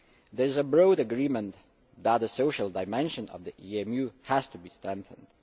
There is broad agreement that the social dimension of the EMU has to be strengthened.